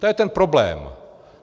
To je ten problém.